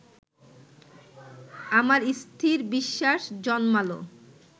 আমার স্থির বিশ্বাস জন্মাল